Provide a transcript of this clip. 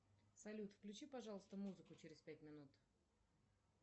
салют включи пожалуйста музыку через пять минут